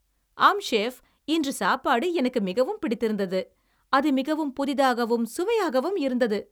ஆம், செஃப், இன்று சாப்பாடு எனக்கு மிகவும் பிடித்திருந்தது. அது மிகவும் புதிதாகவும் சுவையாகவும் இருந்தது.